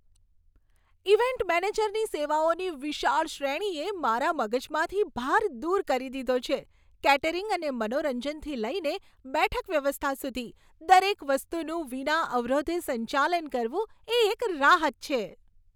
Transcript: Event મેનેજરની સેવાઓની વિશાળ શ્રેણીએ મારા મગજમાંથી ભાર દૂર કરી દીધો છે કેટરિંગ અને મનોરંજનથી લઈને બેઠક વ્યવસ્થા સુધી, દરેક વસ્તુનું વિના અવરોધે સંચાલન કરવું એ એક રાહત છે.